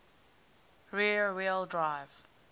rear wheel drive